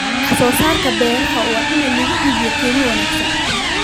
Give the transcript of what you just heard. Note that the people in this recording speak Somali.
Wax soo saarka beeraha waa in lagu iibiyaa qiimo wanaagsan.